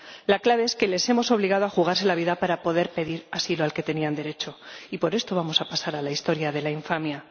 La clave es que los hemos obligado a jugarse la vida para poder pedir el asilo al que tenían derecho, y por esto vamos a pasar a la historia de la infamia.